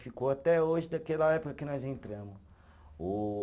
Ficou até hoje daquela época que nós entramos o